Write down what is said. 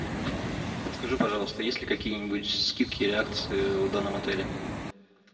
подскажи пожалуйста есть ли какие нибудь скидки или акции в данном отеле